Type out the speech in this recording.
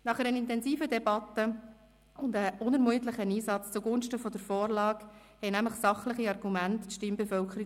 Nach einer intensiven Debatte und unermüdlichem Einsatz zugunsten der Vorlage überzeugten nämlich sachliche Argumente die Stimmbevölkerung.